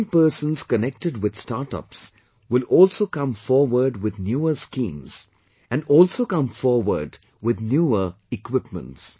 Young persons connected with Startups will also come forward with newer schemes and also come forward with new equipments